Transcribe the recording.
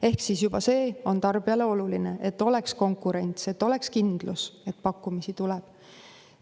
Ehk siis juba see on tarbijale oluline, et oleks konkurents, oleks kindlus, et pakkumisi tuleb.